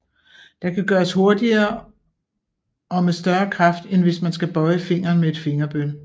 Det kan gøres hurtigere og med større kraft end hvis man skal bøje fingeren med et fingerbøl